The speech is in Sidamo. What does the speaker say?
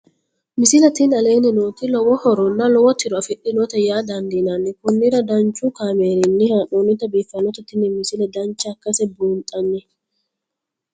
misile tini aleenni nooti lowo horonna lowo tiro afidhinote yaa dandiinanni konnira danchu kaameerinni haa'noonnite biiffannote tini misile dancha ikkase buunxanni